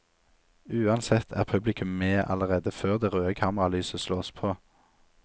Uansett er publikum med allerede før det røde kameralyset slås på.